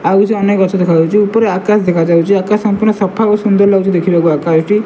ଆଉ କିଛି ଅନେକ ଗଛ ଦେଖା ଯାଉଛି ଉପରେ ଆକାଶ ଦେଖା ଯାଉଛି ଆକାଶ ସମ୍ପୂର୍ଣ୍ଣ ସଫା ଓ ସୁନ୍ଦର୍ ଲାଗୁଛି ଦେଖିବାକୁ ଆକାଶଟି।